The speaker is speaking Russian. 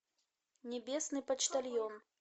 небесный почтальон